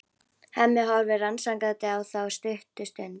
Hemmi horfir rannsakandi á þá stutta stund.